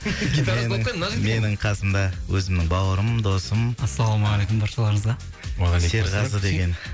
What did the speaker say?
менің қасымда өзімнің бауырым досым ассалаумағалейкум баршаларыңызға уағалейкумассалам серғазы деген